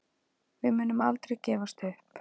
Við munum aldrei gefast upp